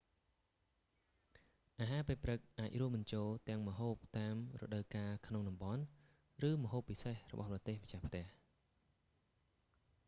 អាហារពេលព្រឹកអាចរួមបញ្ចូលទាំងម្ហូបតាមរដូវកាលក្នុងតំបន់ ឬម្ហូបពិសេសរបស់ប្រទេសម្ចាស់ផ្ទះ